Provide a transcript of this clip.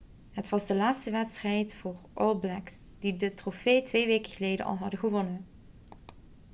het was de laatste wedstrijd voor de all blacks die de trofee twee weken geleden al hadden gewonnen